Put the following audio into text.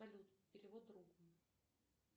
салют перевод другу